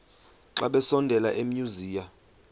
xa besondela emasuie